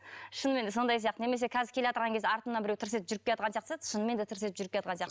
шынымен сондай сияқты немесе қазір келеатырған кезде артымнан біреу тырс етіп жүріп келеатқан сияқты шынымен де тырс етіп жүріп келеатқан сияқты